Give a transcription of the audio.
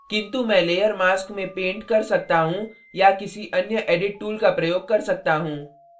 किन्तु मैं layer mask में paint कर सकता हूँ या किसी अन्य edit tools का प्रयोग कर सकता हूँ